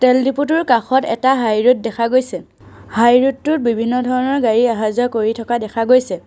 তেল ডিপুটোৰ কাষত এটা হাই ৰেড দেখা গৈছে হাই ৰেড টোত বিভিন্ন ধৰণৰ গাড়ী আহা যোৱা কৰি থকা দেখা গৈছে।